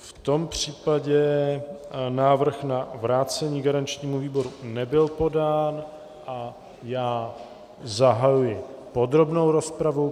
V tom případě návrh na vrácení garančnímu výboru nebyl podán a já zahajuji podrobnou rozpravu.